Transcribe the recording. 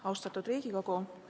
Austatud Riigikogu!